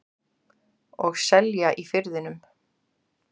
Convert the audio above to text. Og selja í Firðinum.